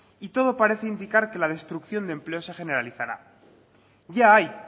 y todo parece indicar que la destrucción de empleo se generalizará ya hay